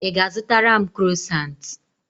Ị ga-azụtara m krosant?